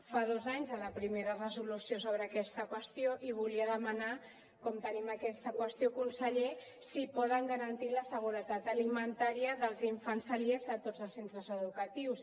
fa dos anys de la primera resolució sobre aquesta qüestió i volia demanar com tenim aquesta qüestió conseller si poden garantir la seguretat alimentària dels infants celíacs a tots els centres educatius